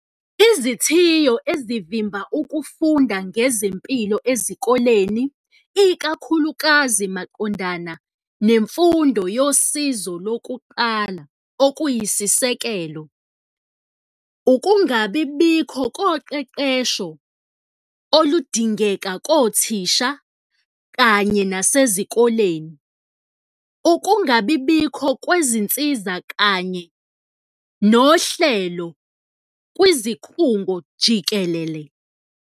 Izithiyo ezivimba ukufunda ngezempilo ezikoleni, ikakhulukazi maqondana nemfundo yosizo lokuqala okuyisisekelo, ukungabibikho koqeqesho oludingeka kothisha kanye nasezikoleni, ukungabibikho kwezinsiza kanye nohlelo kwizikhungo jikelele.